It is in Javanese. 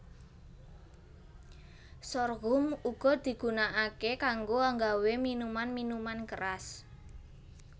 Sorghum uga digunakaké kanggo nggawé minuman minuman keras